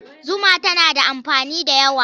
Zuma tana da amfani da yawa.